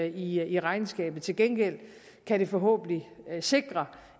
i regnskabet til gengæld kan det forhåbentlig sikre